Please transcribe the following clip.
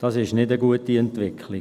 Dies ist keine gute Entwicklung.